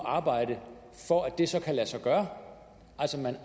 at arbejde for at det så kan lade sig gøre så man